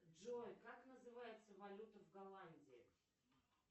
джой как называется валюта в голландии